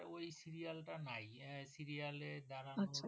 ওই সিরিয়েল তা নাই ওই সিরিয়েল এ যারা